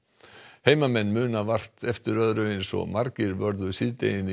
heimamenn muna vart eftir öðru eins og margir vörðu síðdeginu í